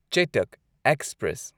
Chetak express